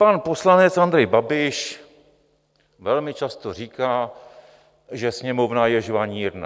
Pan poslanec Andrej Babiš velmi často říká, že Sněmovna je žvanírna.